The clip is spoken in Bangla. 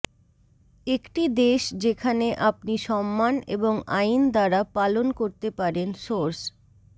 একটি দেশ যেখানে আপনি সম্মান এবং আইন দ্বারা পালন করতে পারেন সোর্স